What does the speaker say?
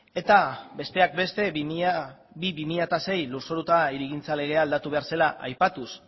eta besteak beste bi barra bi mila sei lurzoru eta hirigintza legea aldatu behar zela aipatuz